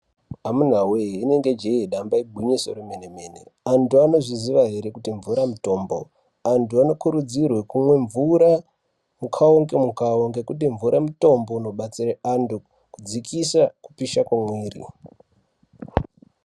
Amunawe rinenge jee damba igwinyiso remenemene antu anozviziva ere kuti mvura mutombo antu anokurudzirwe kumwe mvura mukuwo ngemukuwo ngekuti mvura mutombo unobatsire antu kudzikise kupisha kwemwiri.